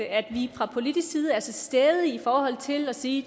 at vi fra politisk side er til stede i forhold til at sige